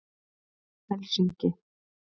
Helsinki